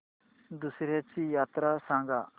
दसर्याची यात्रा सांगा